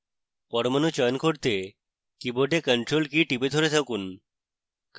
পরমাণু চয়ন করতে keyboard ctrl key টিপে ধরে থাকুন